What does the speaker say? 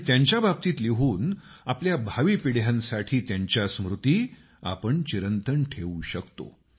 आणि त्यांच्याबाबतीत लिहून आपण आपल्या भावी पिढ्यांसाठी त्यांच्या स्मृति चिरंतन ठेवू शकतो